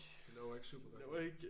Det lover ikke super godt